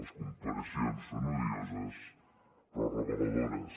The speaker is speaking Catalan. les comparacions són odioses però reveladores